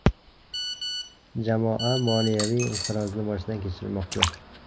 Jamoa moliyaviy inqirozni boshdan kechirmoqda.